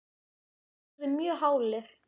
þeir urðu mjög hálir.